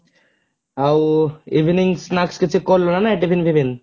ଆଉ evening snacks କିଛି କଲୁ ନା ନାହିଁ tiffin ଫିଫିନ?